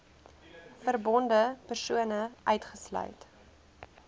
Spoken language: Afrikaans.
verbonde persone uitgesluit